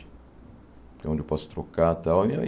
É onde eu posso trocar tal. E aí